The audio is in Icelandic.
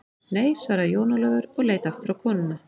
Nei, svaraði Jón Ólafur og leit aftur á konuna.